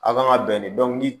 A' kan ka bɛn ni ni